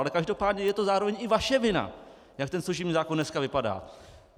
Ale každopádně je to zároveň i vaše vina, jak ten služební zákon dneska vypadá.